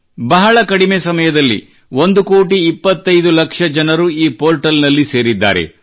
ಬಹಳ ಕಡಿಮೆ ಸಮಯದಲ್ಲಿ 1 ಕೋಟಿ 25 ಲಕ್ಷ ಜನರು ಈ ಪೋರ್ಟಲ್ ನಲ್ಲಿ ಸೇರಿದ್ದಾರೆ